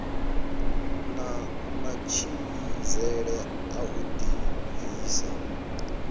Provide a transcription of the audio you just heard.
na matshimbidzele a u dibvisa